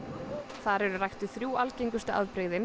þar eru ræktuð þrjú algengustu afbrigðin